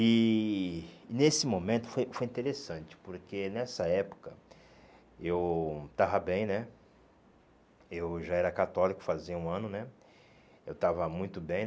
E nesse momento foi foi interessante, porque nessa época eu estava bem né, eu já era católico fazia um ano né, eu estava muito bem e...